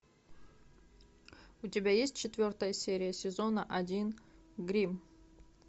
у тебя есть четвертая серия сезона один гримм